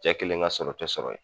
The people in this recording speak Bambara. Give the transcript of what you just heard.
Cɛ kelen ka sɔrɔ tɛ sɔrɔ ye.